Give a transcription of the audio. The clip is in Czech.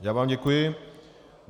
Já vám děkuji.